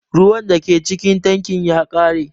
Ruwan da ke cikin tankin ya ƙare.